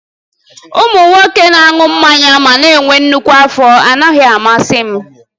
Ụmụ nwoke na-aṅụ mmanya ma na-enwe nnukwu afọ anaghị amasị m